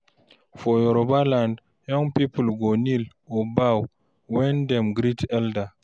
For Yoruba land, young people go kneel or bow when dem greet elder.